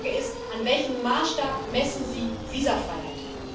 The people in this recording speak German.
Die Frage ist An welchem Maßstab messen Sie Visafreiheit?